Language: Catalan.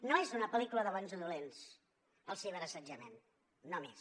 no és una pel·lícula de bons o dolents el ciberassetjament només